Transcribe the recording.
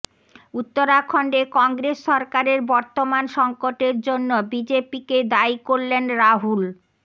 উত্তরাখণ্ডে কংগ্রেস সরকারের বর্তমান সঙ্কটের জন্য বিজেপিকে দায়ী করলেন রাহুল